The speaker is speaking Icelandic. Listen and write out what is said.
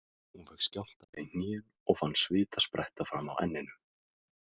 Hún fékk skjálfta í hnén og fann svita spretta fram á enninu.